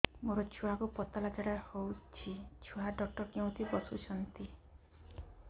ମୋ ଛୁଆକୁ ପତଳା ଝାଡ଼ା ହେଉଛି ଛୁଆ ଡକ୍ଟର କେଉଁଠି ବସୁଛନ୍ତି